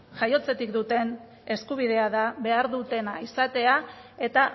jaiotzatik duten eskubidea da behar dutena izatea eta